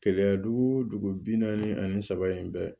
Keleya dugu bi naani ani saba in bɛɛ